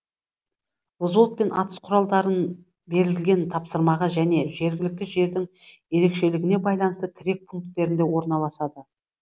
взвод пен атыс құралдарын берілген тапсырмаға және жергілікті жердің ерекшелігіне байланысты тірек пункттерінде орналасады